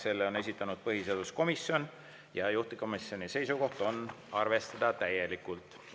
Selle on esitanud põhiseaduskomisjon ja juhtivkomisjoni seisukoht on arvestada täielikult.